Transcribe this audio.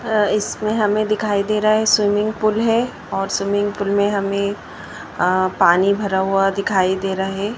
अह इसमें हमें दिखाई दे रहा है स्विमिंग पूल है और स्विमिंग पूल में हमें अह पानी भरा हुआ दिखाई दे रहा है।